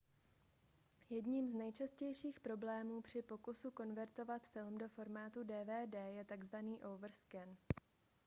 jedním z nejčastějších problémů při pokusu konvertovat film do formátu dvd je takzvaný overscan